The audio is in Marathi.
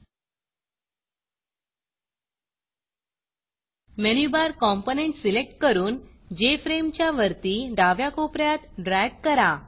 मेनू Barमेनु बार कॉम्पोनंट सिलेक्ट करून जेएफआरएमई च्या वरती डाव्या कोप यात ड्रॅग करा